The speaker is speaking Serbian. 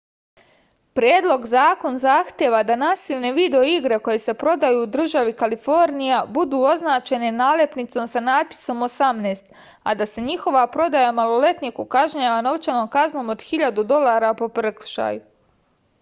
predlog zakon zahteva da nasilne video igre koje se prodaju u državi kalifornija budu označene nalepnicom sa natpisom 18 a da se njihova prodaja maloletniku kažnjava novčanom kaznom od 1000 dolara po prekršaju